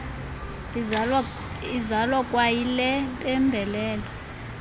izalwa kwayile mpembelelo